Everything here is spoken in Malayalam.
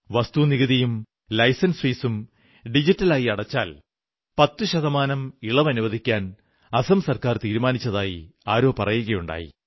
വസ്തുനികുതിയും ലൈസൻസ് ഫീസും ഡിജിറ്റലായി അടച്ചാൽ 10 ശതമാനം ഇളവനുവദിക്കാൻ അസം സർക്കാർ തീരുമാനിച്ചതായി ആരോ പറയുകയുണ്ടായി